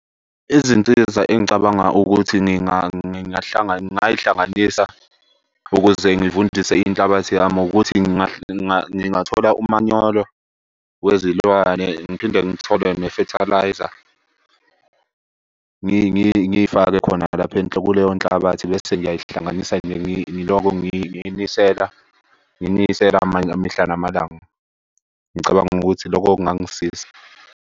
Izinsiza engicabanga ukuthi ngingay'hlanganisa ukuze ngivundise inhlabathi yami ukuthi ngingathola umanyolo wezilwane ngiphinde ngithole ne-fertiliser. Ngifake khona lapho , kuleyo nhlabathi bese ngiyayihlanganisa nje ngiloko ngiyinisela. Ngiyinisela mihla namalanga. Ngicabanga ukuthi loko kungangisiza.